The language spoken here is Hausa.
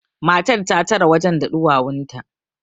matar ta tare wajen da ɗuwawunta